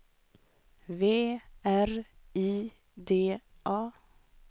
V R I D A